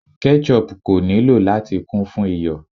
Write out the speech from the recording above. Ketchup ko nilo lati kun fun iyọ̀